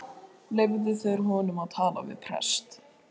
Leyfðu þeir honum að tala við prest?